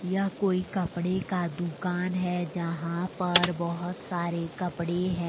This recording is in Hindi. यह कोई कपड़े का दुकान है जहां पर बहुत सारे कपड़े हैं।